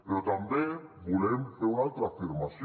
però també volem fer una altra afirmació